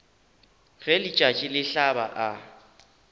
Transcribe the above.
ge letšatši le hlaba a